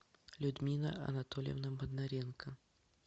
людмила анатольевна бондаренко